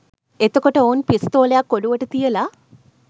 එතකොට ඔවුන් පිස්තෝලයක් ඔලුවට තියල